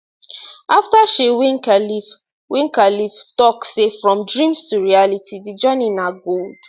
afta she win khelif win khelif tok say from dreams to reality di journey na gold